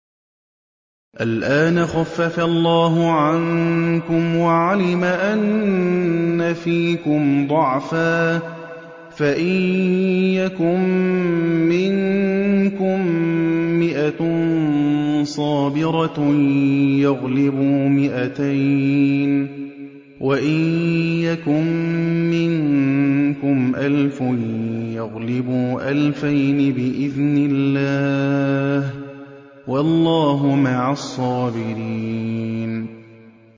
الْآنَ خَفَّفَ اللَّهُ عَنكُمْ وَعَلِمَ أَنَّ فِيكُمْ ضَعْفًا ۚ فَإِن يَكُن مِّنكُم مِّائَةٌ صَابِرَةٌ يَغْلِبُوا مِائَتَيْنِ ۚ وَإِن يَكُن مِّنكُمْ أَلْفٌ يَغْلِبُوا أَلْفَيْنِ بِإِذْنِ اللَّهِ ۗ وَاللَّهُ مَعَ الصَّابِرِينَ